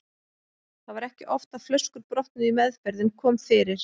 Það var ekki oft að flöskur brotnuðu í meðferð en kom fyrir.